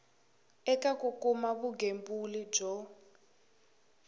eka ku kuma vugembuli byo